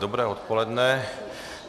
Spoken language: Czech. Dobré odpoledne.